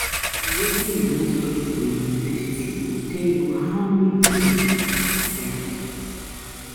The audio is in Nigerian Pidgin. Na wetin you wan study for university go tell how um many years you go study.